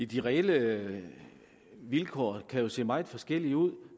de reelle vilkår kan jo se meget forskellige ud